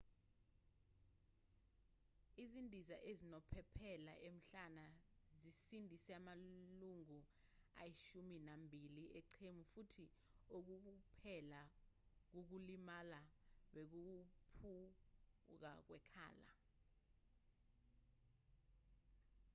izindiza ezinophephela emhlane zisindise amalungu ayishumi nambili eqembu futhi okuwukuphela kokulimala bekuwukuphuka kwekhala